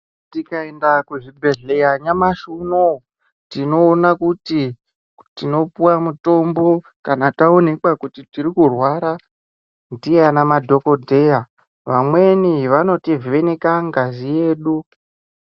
Tikaenda kuzvibhedhlera nyamashi unowu tinoona kuti tinopuwa mutombo kana taonekwa kuti tiri kurwara ndiana madhokodheya vamweni vanotivheneka ngazi dzedu.